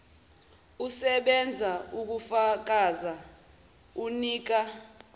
usebenza kufakazi onika